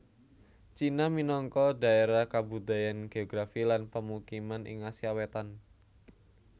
Cina minangka dhaérah kabudayan geografi lan pemukiman ing Asia Wétan